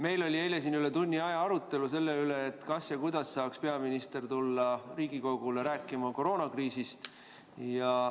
Meil oli eile siin üle tunni aja arutelu selle üle, kas ja kuidas saaks peaminister tulla Riigikogule rääkima koroonakriisist.